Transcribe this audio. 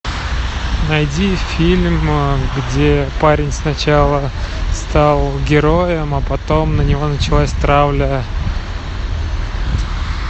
найди фильм где парень сначала стал героем а потом на него началась травля